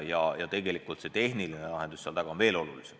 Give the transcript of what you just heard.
Väga oluline on tegelikult ka selle tehniline lahendus.